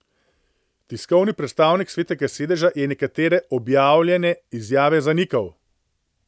Tiskovni predstavnik Svetega sedeža je nekatere objavljene izjave zanikal.